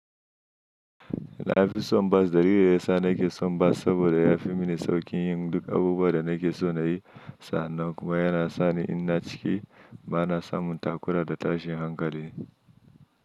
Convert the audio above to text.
Na fi son bas. Dalilin ya sa na ke son bas saboda ya fi mini sauƙin yin duk abubuwan da na ke so na yi. Sannan kuma yana sa ni ina ciki ba na samun takura da tashin hankali.